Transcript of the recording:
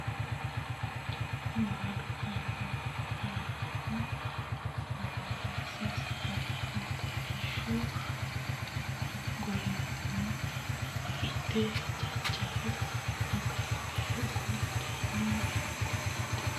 Baadu hamaaraho Moorise saalaho Kolishshu gorino Argati Jaanjeho Ga ranfe gundeenna Badhese maalaho Dongori Oromo Jaanje Argatira hirboorra daandeho Baadu hamaaraho.